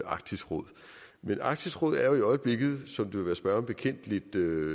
arktisk råd men arktisk råd er jo i øjeblikket som det vil være spørgeren bekendt lidt